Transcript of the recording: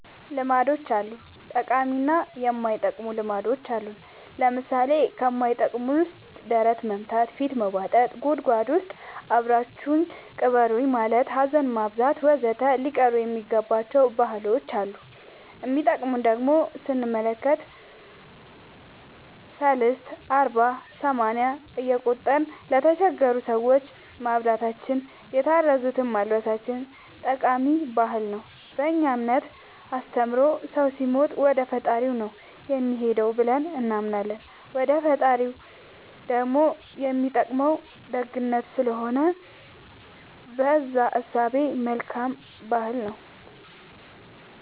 ልማዶች አሉ ጠቃሚ እና የማይጠቅሙ ልማዶች አሉን ለምሳሌ ከማይጠቅመን ውስጥ ደረት መምታ ፊት መቦጠጥ ጉድጎድ ውስጥ አብራችሁኝ ቅበሩኝ ማለት ሀዘን ማብዛት ወዘተ ሊቀሩ የሚገባ ባህሎች አሉ የሚጠቅሙን ደሞ ስንመለከት ሰልስት አርባ ሰማንያ እየቆጠርን ለተቸገሩ ሰዎች ማብላታችን የታረዙትን ማልበሳችን ጠቃሚ ባህል ነው በእኛ እምነት አስተምሮ ሰው ሲሞት ወደፈጣሪው ነው የሚሄደው ብለን እናምናለን ወደ ፈጣሪው ደሞ የሚጠቅመው ደግነት ስለሆነ በእዛ እሳቤ መልካም ባህል ነው